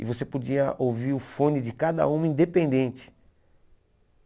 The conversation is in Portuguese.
E você podia ouvir o fone de cada um independente.